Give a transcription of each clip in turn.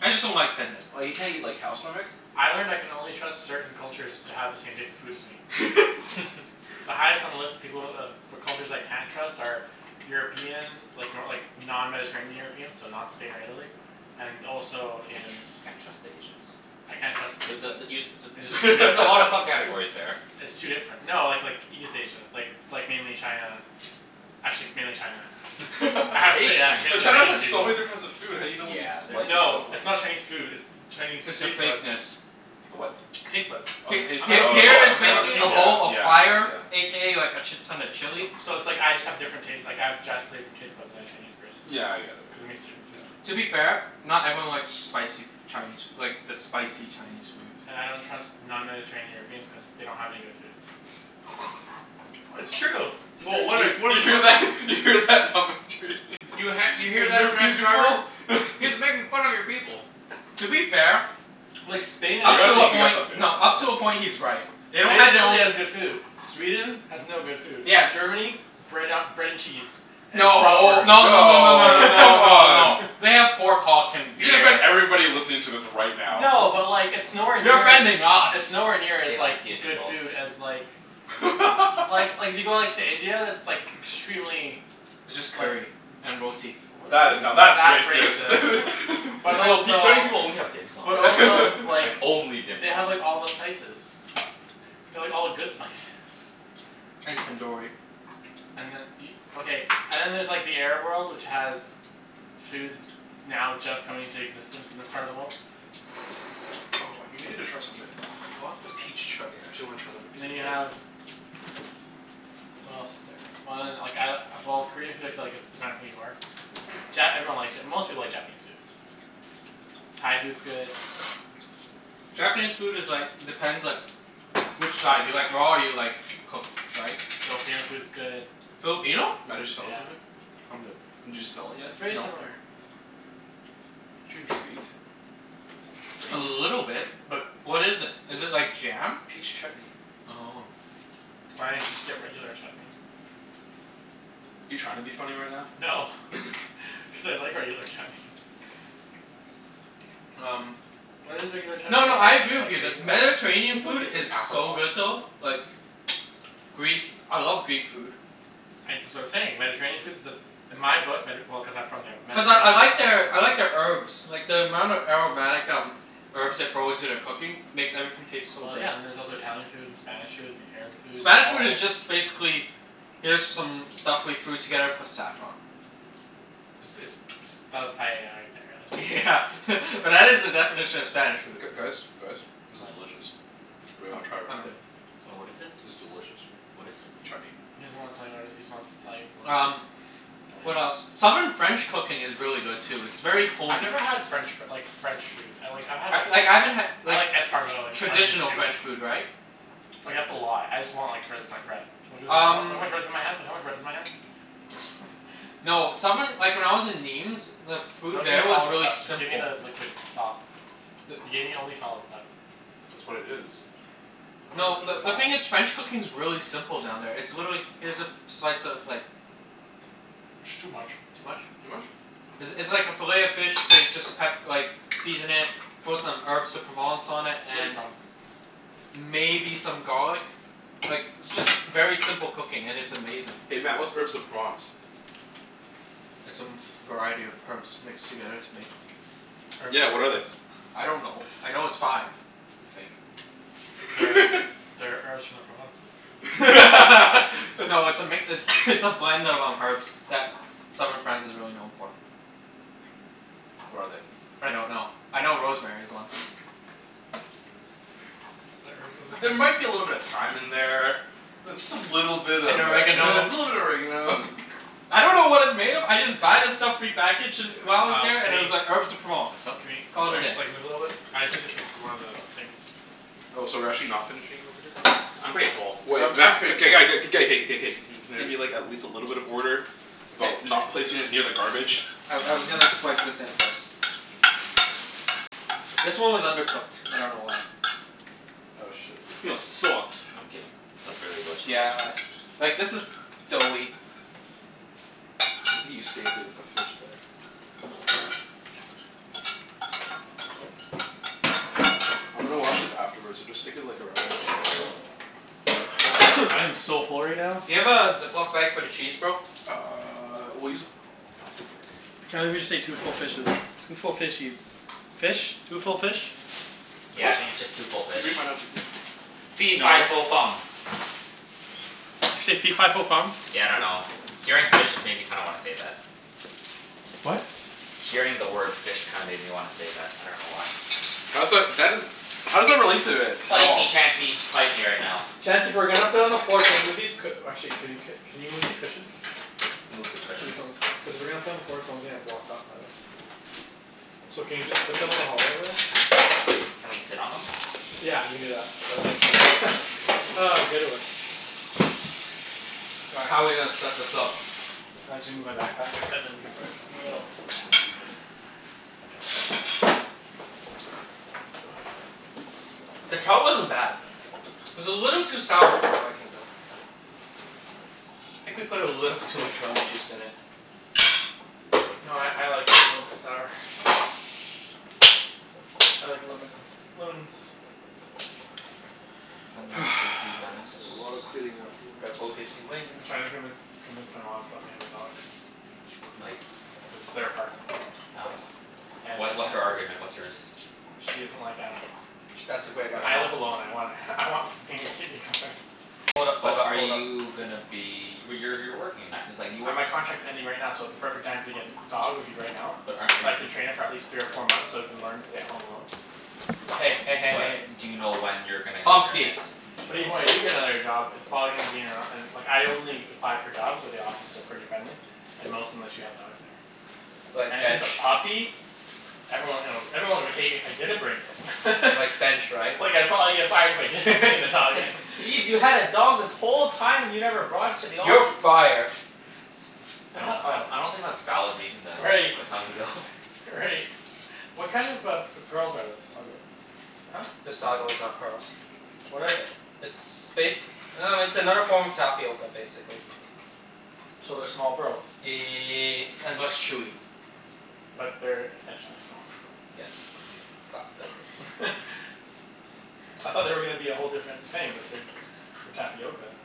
I just don't like tendon. Or you can't eat like cow stomach. I learned I can only trust certain cultures to have the same taste in food as me. The highest on the list of people of for cultures I can't trust are European like, no like, non-mediterranean Europeans. So not Spain or Italy. And also Can't Asians. tr- can't trust Asians. I can't trust B- their taste but the bud. you s- t- I just there's a lot of sub-categories there. It's too different. No, like like, East Asia. Like, like mainly China. Actually, it's mainly China. Hate Actually, yeah. It's But mainly China's Chinese Chinese food. like, so people. many difference of food how do you know what you Yeah, like there's and don't No, it's like? not Chinese food, it's the Chinese It's the taste bud. fakeness. The what? Taste buds. Oh, the H- Of taste bud. h- all Oh people. here yeah, is Of all yeah, the basically a people. bowl yeah, of fire yeah. a k a like a shit ton of chili. So it's like, I just have different taste, like, I have drastically different taste buds than a Chinese person. Yeah, I get it. Cuz I'm used to different Yeah, food. yeah. To be fair, not everyone likes spicy f- Chinese like, the spicy Chinese food. And I don't trust non-mediterranean Europeans cuz they don't have any good food. W- it's true! Well, what You if we're you the hear pers- that? You hear that? You ha- you hear that, transcriber? He's making fun of your people. To be fair Like, We Spain and up gotta to a Italy stop, we gotta point, stop doing that, no, up to a right? point he's right. They don't Only have their Italy own has good food. Sweden has no good food. Yeah. Germany? Bread a- bread and cheese. And No. No no no no No, no no come no no. on. They have pork hulk and You gonna offend beer. everybody listening to this right now. No, but like, it's nowhere You're near as offending it's us. nowhere near They as like, like good food as like Well, like, if you go like, to India, that's like extremely It's just curry. like And roti. W- That i- now, w- that's that's racist. racist. But That's like, "Oh see, also Chinese people only have dim sum." But also Like, like only dim they have sum. like all the spices. They have all the good spices. And tandoori. And then e- Okay, and then there's like, the Arab world, which has food that's now just coming into existence in this part of the world. Oh, I've been meaning to try something. I bought the peach chutney. I actually wanna try it on a And piece then of you bread. have what else is there? Well then, like I, well, Korean food I feel like it's dependent who you are. Ja- everyone likes Ja- most people like Japanese food. Thai food's good. Japanese food is like, depends like which side. Do you like raw or you like cooked, right? Filipino food's good. Filipino? Yeah. I'm good. Did you smell it yet? It's very No. similar. Aren't you intrigued? A Smells great. little bit. But what is it? Is it It's like jam? Peach chutney. Oh. Why didn't you just get regular chutney? You trying to be funny right now? No. Cuz I like regular chutney. Um Why does regular chutney No, no, I agree with you that I Mediterranean think like food it's an is so good apricot. though. Like Greek, I love Greek food. I, that's what I'm saying. Mediterranean food's the In my book, Medi- well, cuz I'm from there. Cuz I I like their I like their herbs. Like the amount of aromatic um herbs they throw into their cooking makes everything taste so Well, good. yeah. And then there's also Italian food, and Spanish food, and Arab food. Spanish food is just basically here's some stuff we threw together plus saffron. Is this ps- that was paella right there, Yeah yeah but that is the definition of Spanish food. G- guys? Guys? This is What? delicious. Anyone I'm wanna try it I'm right now? good. Oh, what is it? It's delicious. What is it? Chutney. He doesn't wanna tell you what it is. He just wants to tell you it's delicious. Um What Want some? else? Southern French cooking is really good too. It's very I've homey. never had French f- like, French food. I like, I've had a Like, I haven't had I like like escargot, and traditional onion soup. French food, right? Like, that's a lot. I just want like, finish my bread. Look how Um much bread is in my hand. Look at how much bread's in my hand. no, southern like, when I was in Nîmes the food Don't give me there was solid really stuff. Just give me simple. the liquid sauce. You The gave me only solid stuff. That's what it is. No, the the the thing is sauce. French cooking's really simple down there. It's literally, here's a f- slice of like It's too much. Too much? Too much? It's it's like a fillet of fish they just pep- like season it, throw some Herbes de Provence on it, Too and strong. maybe some garlic. Like, it's just very simple cooking, and it's amazing. Hey Mat, what's Herbes de Provence? It's a m- variety of herbs mixed together to make Herbes de Yeah, what are they? Provence. I don't know. I know it's five. I think. That are that are herbs from the Provences. No, it's a mix, it's it's a blend of um, herbs that southern France is really known for. What are they? I don't know. I know rosemary's one. It's the herbs of the There might be a little bit of Provences. thyme in there. Th- just a little bit of a And little bit oregano. of oregano. I don't know what it's made of. I just buy the stuff prepackaged d- while I was Um, there, can and it was like, we Herbes de Provence. It's can not Cana- we, Call can it a we day. just like, move a little bit? I just need to fix one of the things. Oh, so we're actually not finishing over here? I'm pretty full. Um, Wait I'm Mat, pretty k- g- g- k- g- g- k- k- k- k. Can there be like, at least a little bit of order? About not placing it near the garbage? I I was gonna swipe this in first. I see This one was undercooked. I don't know why. Oh shit. This meal sucked. I'm kidding. It was really delicious, Yeah actually. a Like this is doughy. You saved it with the fish there. I'm gonna wash it afterwards, so just stick it like around. I am so full right now. Do you have a Ziploc bag for the cheese, bro? Uh, we'll use a plastic bag. Can't believe we just ate two full fishes. Two full fishies. Fish? Two full fish? Yeah, I What? think it's just two full Can you bring fish. mine out too, please? Fee fi No. fo fum. Did you say fee fi fo fum? Yeah, I dunno. Hearing fish just kinda made me wanna say that. What? Hearing the word fish kinda made me wanna say that. I dunno why. How's that, that isn't How does that relate to it at Fight me, all? Chancey. Fight me right now. Chancey, if we're gonna put it on the floor can we move these cu- or actually, can you c- can you move these cushions? Move the These cushions? ones. Cuz if we're gonna put on the floor, someone's gonna get blocked off by those. So can you just put them in the hallway over there? Can we sit on them? Yeah, we can do that. That makes sense. Ah, good one. All right, how are we gonna set this up? Uh, my backpack and then we can put it in the middle. The trout wasn't bad. It was a little too sour for my liking, though. I think we put a little too much lemon juice in it. No, I I like it a little bit sour. I like lemon. Lemon's When That's life gives you gonna be lemons a lot of cleaning Red Bull afterwards. gives you I'm wings. trying to convince convince my mom to let me have a dog. L- like Cuz it's their apartment. Oh. And I What what's can't her argument? What's yours? She doesn't like animals. That's a great But I help argument. live alone. I want I want something to keep me company. Hold up, But hold up, are hold up. you gonna be W- y- you're working, like it's like you Uh, work my contract's ending right now, so the perfect time to get an dog would be right now. But aren't are So I you can train it for at least three or four months so it can learn to stay at home alone. Hey, hey, hey, hey, But hey. do you know when you're gonna get your Pomski. next But even when I job? do get another job it's probably gonna be in a, in like, I only apply for jobs where the offices are pretty friendly. And most of them let you have dogs there. Like And if it's bench? a puppy? Everyone hill, everyone would hate me if I didn't bring it. Like bench, right? Well, yeah, probably if I if I didn't bring the It's dog in. like, "Ibs, you had a dog this whole time and you never brought it to the office?" "You're fired." They I don't have I a I don't think that's valid reason to Right. let someone go. Right. What kind of a p- pearls are those? Sago. Huh? This sago Sago. is not pearls. What are they? It's bas- I dunno, it's another form of tapioca I basically. So they're small pearls? Ye- and less chewy. But they're essentially small Yes. pearls? Fuck, that looks I thought they were gonna be a whole different thing, but they're for tapioca.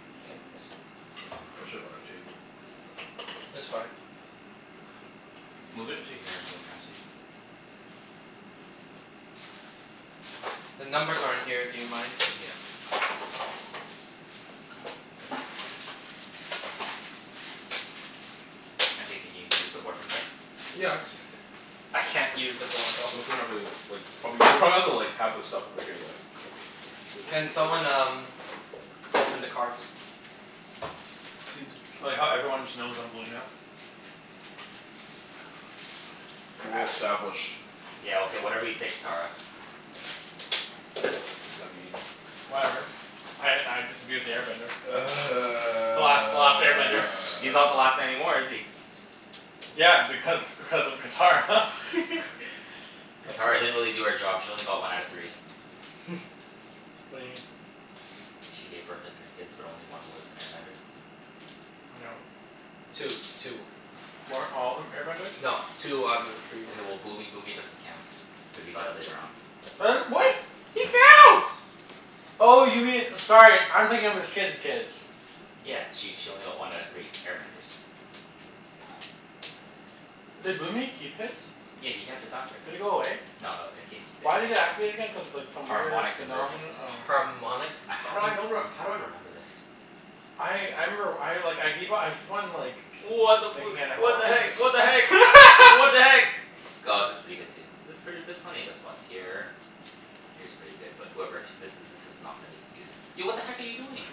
should have bought a table. It's fine. Move it to here so Chancey The numbers are in here. Do you mind? Yeah. Chancey, can you use the board from there? Yeah, I can see it. I can't use the board though. We can probably like probably, you'll probably have to like have the stuff over here though. Okay. Can someone um, open the cards? See if it I like how everyone just knows I'm blue now. Well Crap. established. Yeah, okay, whatever you say Catara. What does that mean? Whatever. I I get to be with the air bender. The last the last air bender. He's not the last anymore, is he? Yeah, because because of Catara. That's Catara gross. didn't really do her job. She only got one out of three. What do you mean? Like she gave birth to three kids but only one was an air bender. No. Two. Two were. Weren't all of them air benders? No. Two out of the three were. Okay, well Boomy Boomy doesn't count. Cuz he got it later on. Her, what? He counts. Oh, you mean, sorry, I'm thinking of his kid's kids. Yeah. She she only got one out of three. Air benders. Did Boomy keep his? Yeah, he kept his after. Did it go away? No, it again? Cuz like, some weird Harmonic phenomeno- convergence. oh. Harmonic A- how do I fucking know rem- how do I remember this? I I remember, I like, I keep o- I keep on like What the fu- thinking I never what the watched heck? it. What the heck? What the heck? G- aw, this is pretty good too. There's pret- there's plenty of good spots here. Here's pretty good. But whoever, this is this is not gonna be used. Yo, what the heck are you doing?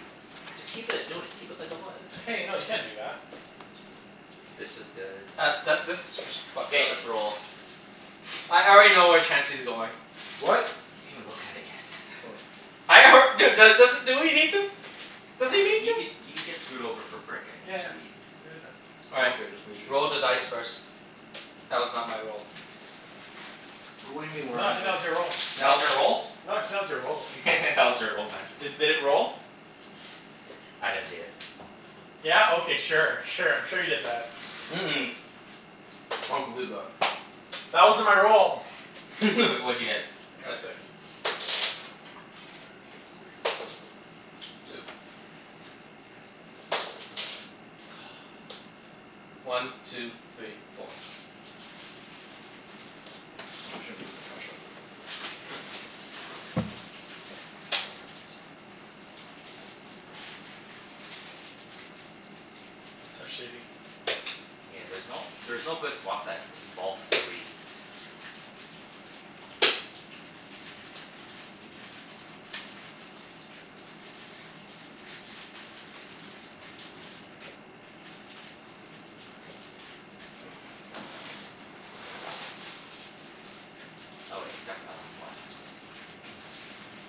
Just keep it. No, just keep it like it was. Hey, no, you can't do that. This is good, that's That that okay. this is s- fucked K, up. let's roll. I already know where Chancey's going. What? He didn't even look at it yet. Hold on. I alr- dude. Dude do- does do we need to? Yeah, Does he but need you could to? you could get screwed over for brick and Yeah. wheat. All Oh right. okay, just make You you sure. Roll the dice first. That was not my role. What do you mean your roll. That No. was your roll? your roll. That was your roll, man. D- did it roll? I didn't see it. Yeah? Okay, sure. Sure, I'm sure you did that. Mm- mm. I don't believe that. That wasn't my roll! W- what'd you get? I got six. Two. One two three four. I'm actually gonna move my couch outta the way for this. It's so shitty. Yeah, there's no there's no good spots that involve three. Oh wait, except for that one spot.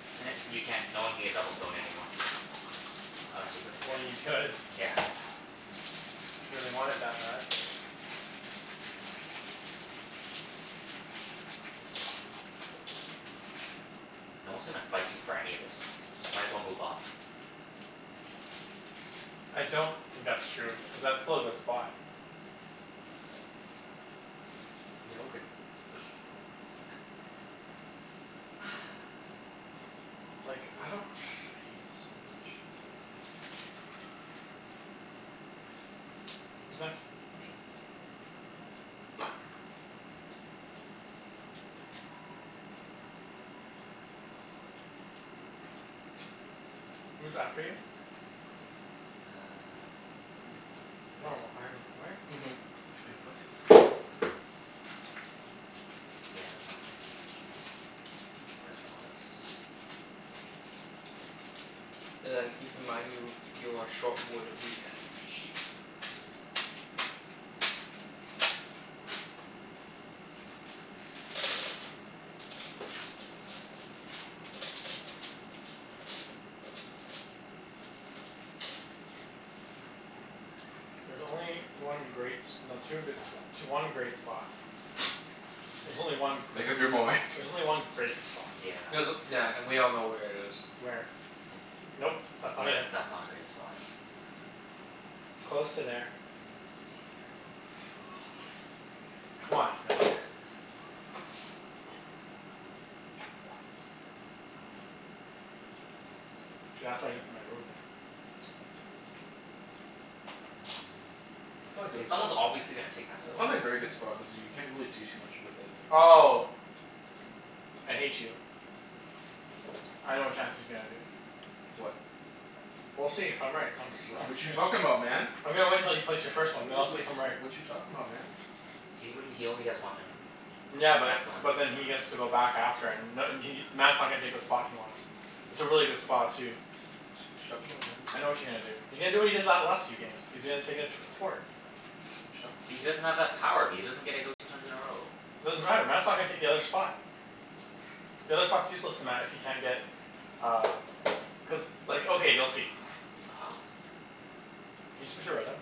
You can't, no one can get double stone anymore. Unless you put it Well, here. you could. Yeah. If you really want it that bad. No one's gonna fight you for any of this. Just might as well move up. I don't think that's true. Cuz that's still a good spot. Yeah, okay. Like, I don't I hate this so much. Who's next? Me. Who's after you? Uh Me. and then No, I'm, what? Mhm. Wait, what? Yeah, that's what I'm thinking right now. Press the odds. But then keep in mind you you are short wood, wheat, and sheep. There's only one great s- no, two good spo- tw- one great spot. There's only one great Make up your s- mind. There's only one great spot. Yeah. There's, yeah, and we all know where it is. Where? Nope. That's not Yeah that's it. that's not a great spot. It's close to there. Yeah, it's here. Obvious. Come on, Mat. See, that's why I didn't put my ruin there. That's not Mm, a k, good as sp- someone's obviously gonna take that That's spot. not a very good spot cuz you can't really do too much with it. Oh! I hate you. I know what Chancey's gonna do. What? We'll see if I'm right. I'm s- Wh- I'm what you s- talking about, man? I'm gonna wait until you place your W- first one, w- then I'll what see if I'm w- right. what you talking about, man? He, what do you, he only has one in a Yeah, That's but the one but then he he has gets to move. to go back after and n- and he Mat's not gonna take the spot he wants. It's a really good spot, too. What you what you talking about, man? I know what you're gonna do. He's gonna do what he did that last few games. He's gonna take a tw- a port. What But he you talking doesn't about? have that power. B- he doesn't get to go two times in a row. Doesn't matter. Mat's not gonna take the other spot. The other spot's useless to Mat if he can't get uh cuz, like, okay, you'll see. Can you just put your red down? Yeah.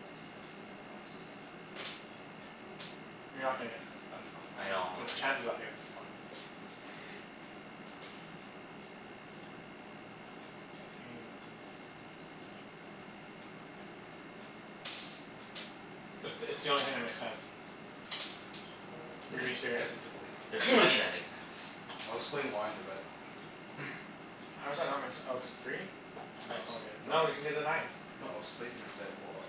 Yes, yes, yes boss. You're not gonna get that spot. I know I- I'm not cuz gonna get it. Chancey's gotta Yeah. get that spot. Chancey, can you go? It's it's the only thing that makes sense. Is he being There's Doesn't there's serious? doesn't doesn't make sense. there's plenty that make sense. I'll explain why in a bit. How does that not make se- oh, cuz of three? I No it's, still don't get it. no No, you can get it's the nine. No, I'll explain in a bit. Hold on.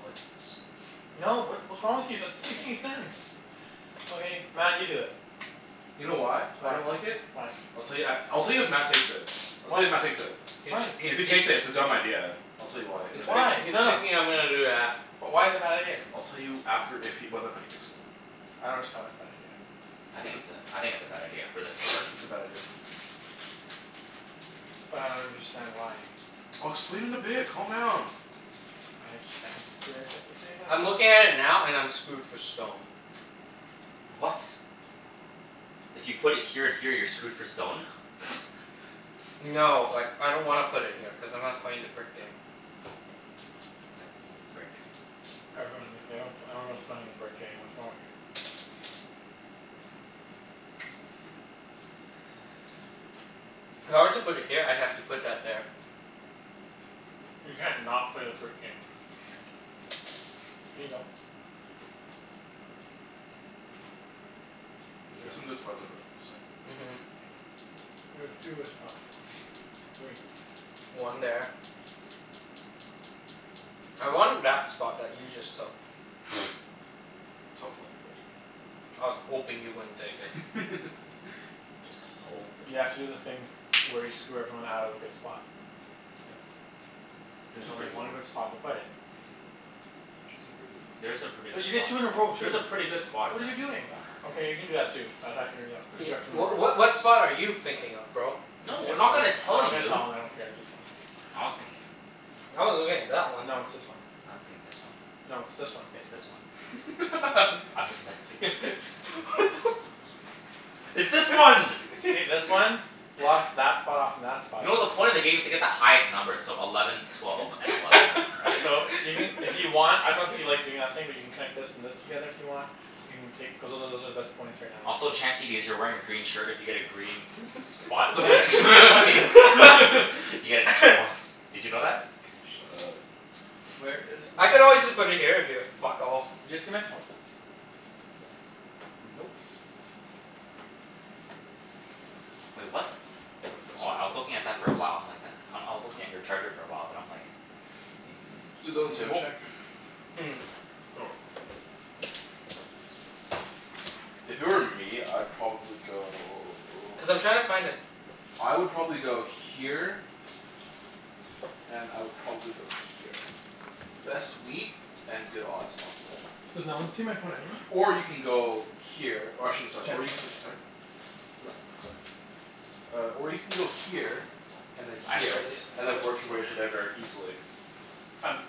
I like this spot. No, what what's wrong with you? That's make any sense. Okay. Mat, you do it. You know why I don't Why? like it? Why? I'll tell you at, I'll tell you if Mat takes it. I'll tell Why? you if Mat takes it. K, so Why? he's If he he takes it, it's a dumb idea. I'll tell you why in he's a bit. thi- Why? he's No, no. thinking I'm gonna do that. But why is it a bad idea? I'll tell you after if he, whether or not he picks it. I don't understand why it's a bad idea. I It's think a it's a, I think it's a bad idea, for this board. It's a bad idea. But I don't understand why. I'll explain in a bit. Calm down. I just, I think it's weird that you say that. I'm looking at it now, and I'm screwed for stone. What? If you put it here and here you're screwed for stone? No, like, I don't wanna put it here cuz I'm not playing the brick game. But you need brick. Everyone ne- everyone pl- everyone's playing the brick game, what's wrong with you? If I were to put it here, I'd have to put that there. You can't not play the brick game. Can you go? There's some Yeah. good spots over on this side. Mhm. There's two good spots. Three. One there. I wanted that spot that you just took. Tough luck, buddy. I was hoping you wouldn't take it. Just You have hopin'. to do the thing where you screw everyone out of a good spot. Yeah. There's There's some only pretty good one good ones. spot to play it. There's There's some some pretty good places. pretty good Cuz you get spots. two, you roll There's a two. pretty good spot in What are you Mat's doing? corner. Okay, you can do that too. That's actually Cuz you Ye- have two more w- of what what spot are you thinking of, bro? I'm No, not we're not gonna gonna tell you I dunno, tell I'm gonna you. tell him. I don't care. It's this one. I was thinking I was looking at that one. No, it's this one. I was thinking this one. No, it's this one. It's this one. I'm just What me- the f- It's this one! See this one? Blocks that spot off from that spot. You know the point of the game is to get the highest numbers, so eleven twelve and eleven, right? So, you can if you want, I dunno if you like doing that thing where you can connect this and this together if you want? You can take cuz those are, those are the best points right now in the Also, game. Chancey, because you're wearing a green shirt, if you get a green spot, The you get extra points. f- You get an extra points. Did you know that? Shut up. Where is my I could always just put it here, and be like, "Fuck all." Did you see my phone? Nope. Wait, what? My foot's Oh, gonna I was fall looking at asleep that for a very while. I'm soon. like, that, um I was looking at your charger for a while, then I'm like Is that it I'm on gonna the go table? check. Hmm. Oh. If it were me, I'd probably go Cuz I'm trying to find a I would probably go here and I would probably go here. Best wheat and good odds on wood. Does no one see my phone anywhere? Or you can go here Or I shouldn't, sorry, or you Chancey? can, sorry? No, I'm sorry. Uh, or you can go here and then I actually There it don't here, see it. is. I and found then it. work your way to there very easily. I found it.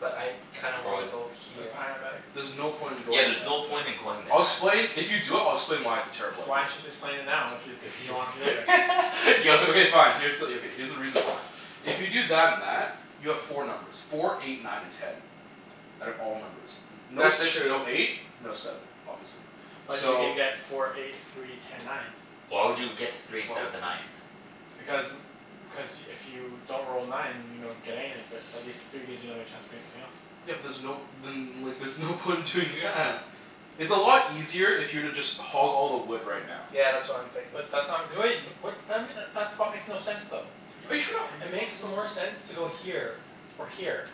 But I kinda Where wanna was it? go It was here. behind that bag. There's no point in Yeah, going there's no there. point in going there, I'll Mat. explain, if you do it I'll explain why it's a terrible idea. Why don't you just explain it now? If you, Cuz if he he wants to go there? wants yo Okay fine. Here's the, yeah, okay, here's the reason why. If you do that and that you have four numbers. Four eight nine and ten. Out of all numbers. No That's six, true. no eight? No seven, obviously. But you So can get four eight three ten nine. Why would you get the Why three instead w- of the nine? Because n- cuz if you don't roll nine, you don't get anything, but at least three gives you another chance of getting something else. Yeah but there's no, then there's no point in doing Yeah. that. It's a lot easier if you were to just hog all the wood right now. Yeah, that's what I'm thinking. But that's not great. What then m- that that spot makes no sense though. Are you trying to It argue with me makes or more something? sense to go here. Or here.